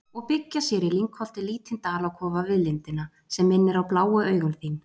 og byggja sér í lyngholti lítinn dalakofa við lindina, sem minnir á bláu augun þín.